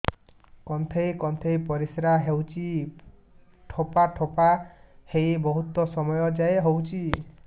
କୁନ୍ଥେଇ କୁନ୍ଥେଇ ପରିଶ୍ରା ହଉଛି ଠୋପା ଠୋପା ହେଇ ବହୁତ ସମୟ ଯାଏ ହଉଛି